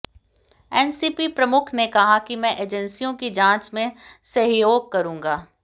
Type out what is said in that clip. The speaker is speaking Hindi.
एनसीपी प्रमुख ने कहा कि मैं एजेंसियों की जांच में सहयोग करूंगा